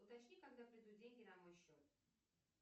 уточни когда придут деньги на мой счет